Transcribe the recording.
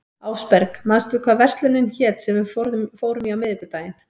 Ásberg, manstu hvað verslunin hét sem við fórum í á miðvikudaginn?